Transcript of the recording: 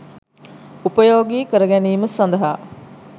උපයෝගී කරගැනීම සඳහා